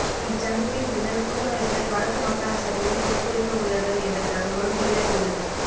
இந்தச் சந்திப்பின் பின்னர் கூட்டமைப்பினர் வடக்கு மாகாணசபையைப் பொறுப்போற்கவுள்ளனர் என்ற தகவலும் வெளியாகியுள்ளது